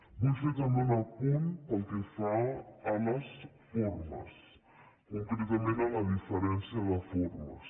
vull fer també un apunt pel que fa a les formes concretament a la diferència de formes